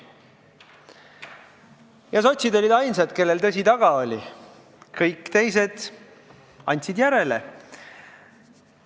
Ja sotsid olid ainsad, kellel tõsi taga oli, kõik teised andsid järele.